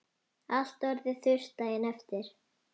Allt orðið þurrt daginn eftir.